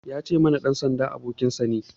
Ya ce muna,"Ɗan sanda abokinka ne"